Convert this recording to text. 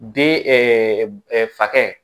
Den fakɛ